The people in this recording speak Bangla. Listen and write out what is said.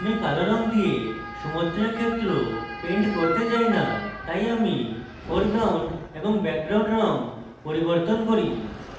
আমি কালো রঙ দিয়ে সমুদ্রের ক্ষেত্র paint করতে চাই না তাই আমি foreground এবং background রং পরিবর্তন করি